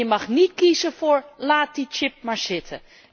En je mag niet kiezen voor laat die chip maar zitten.